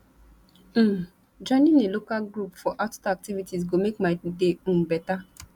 um joining a local group for outdoor activities go make my day um better